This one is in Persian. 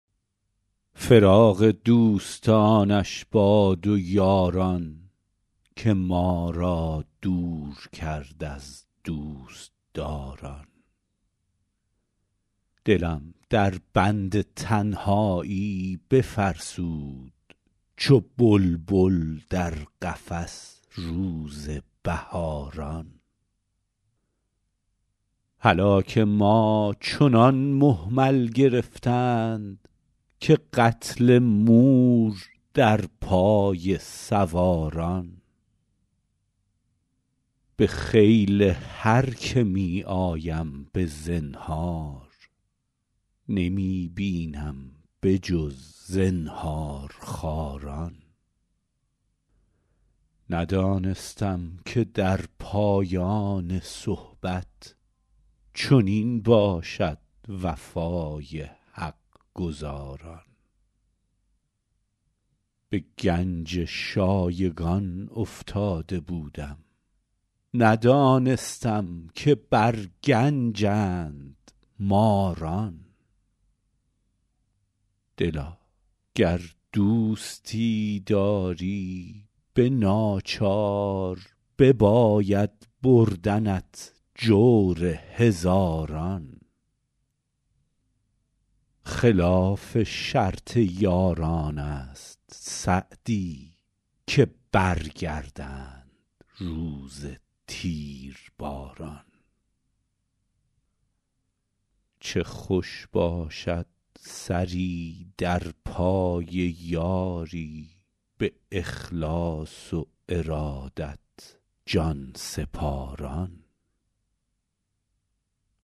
فراق دوستانش باد و یاران که ما را دور کرد از دوستداران دلم در بند تنهایی بفرسود چو بلبل در قفس روز بهاران هلاک ما چنان مهمل گرفتند که قتل مور در پای سواران به خیل هر که می آیم به زنهار نمی بینم به جز زنهارخواران ندانستم که در پایان صحبت چنین باشد وفای حق گزاران به گنج شایگان افتاده بودم ندانستم که بر گنجند ماران دلا گر دوستی داری به ناچار بباید بردنت جور هزاران خلاف شرط یاران است سعدی که برگردند روز تیرباران چه خوش باشد سری در پای یاری به اخلاص و ارادت جان سپاران